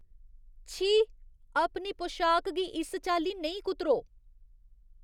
छी, अपनी पोशाक गी इस चाल्ली नेईं कुतरो।